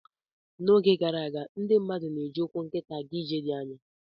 N'oge gara aga, ndị mmadụ na-eji ụkwụ nkịtị aga ije dị anya.